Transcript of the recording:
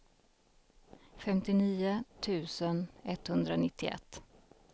femtionio tusen etthundranittioett